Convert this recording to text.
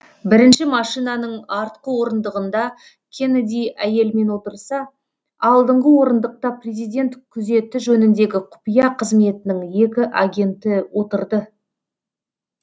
бірінші машинаның артқы орындығында кеннеди әйелімен отырса алдыңғы орындықта президент күзеті жөніндегі құпия қызметінің екі агенті отырды